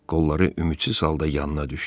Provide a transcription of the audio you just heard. Qolları ümidsiz halda yanına düşdü.